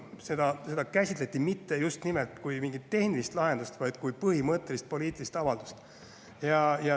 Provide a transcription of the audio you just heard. Te ei kujuta ette: seda käsitleti mitte kui mingit tehnilist lahendust, vaid kui põhimõttelist poliitilist avaldust.